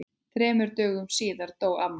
Þremur dögum síðar dó amma.